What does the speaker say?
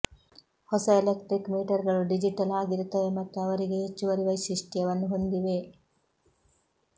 ಹೊಸ ಎಲೆಕ್ಟ್ರಿಕ್ ಮೀಟರ್ಗಳು ಡಿಜಿಟಲ್ ಆಗಿರುತ್ತವೆ ಮತ್ತು ಅವರಿಗೆ ಹೆಚ್ಚುವರಿ ವೈಶಿಷ್ಟ್ಯವನ್ನು ಹೊಂದಿವೆ